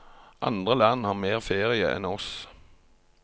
Andre land har mer ferie enn oss.